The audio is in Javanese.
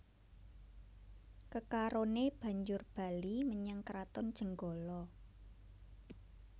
Kekaroné banjur bali menyang Kraton Jenggala